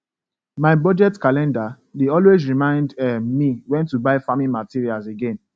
my budget calendar dey always remind um me when to buy farming materials again